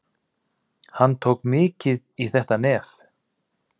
Hann tók mikið í þetta nef.